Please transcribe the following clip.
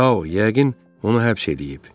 Tao, yəqin onu həbs eləyib.